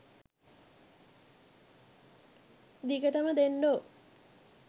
දිගටම දෙන්ඩෝ